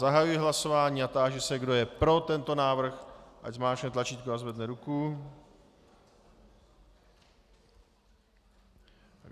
Zahajuji hlasování a táži se, kdo je pro tento návrh, ať zmáčkne tlačítko a zvedne ruku.